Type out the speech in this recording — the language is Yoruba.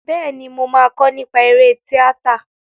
Bẹ́ẹ̀ni, mo máa kọ́ nípa eré tíátà.